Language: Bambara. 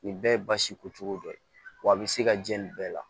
Nin bɛɛ ye basi ko cogo dɔ ye wa a bi se ka jɛ nin bɛɛ la